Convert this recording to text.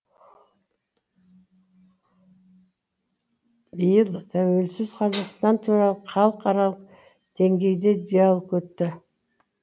биыл тәуелсіз қазақстан туралы халықаралық деңгейде диалог өтті